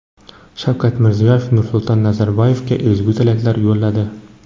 Shavkat Mirziyoyev Nursulton Nazarboyevga ezgu tilaklar yo‘lladi.